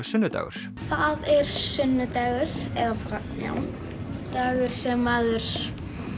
sunnudagur það er sunnudagur eða já dagur sem maður